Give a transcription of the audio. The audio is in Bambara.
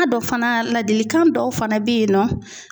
fana ladilikan dɔw fana bɛ yen nɔ